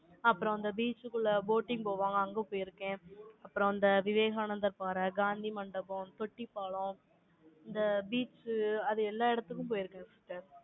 அப்புறம், அந்த beach க்குள்ள, boating போவாங்க. அங்க போயிருக்கேன் அப்புறம், அந்த விவேகானந்தர் பாறை, காந்தி மண்டபம், தொட்டி பாலம், இந்த beach அது எல்லா இடத்துக்கும் போயிருக்கு, sister